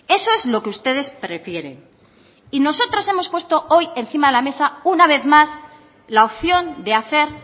eso es lo que ustedes prefieren y nosotros hemos puesto hoy encima de la mesa una vez más la opción de hacer